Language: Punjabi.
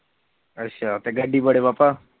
ਅੱਛਾ ਤੇ ਗੱਡੀ ਬੜੇ ਪਾਪਾ